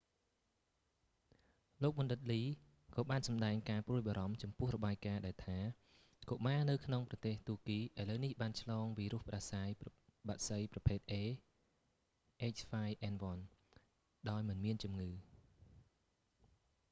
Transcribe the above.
លោកបណ្ឌិតលី lee ក៏បានសម្តែងការព្រួយបារម្ភចំពោះ​របាយ​ការណ៍​ដែលថា​កុមារនៅក្នុងប្រទេសទួរគី​ឥឡូវនេះ​បាន​ឆ្លង​វីរុស​ផ្តាសាយ​បក្សី​ប្រភេទ a h5n1 ដោយមិនមានជំងឺ។